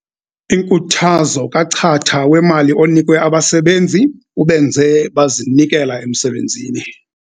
Inkuthazo kachatha wemali onikwe abasebenzi ubenze bazinikela emsebenzini.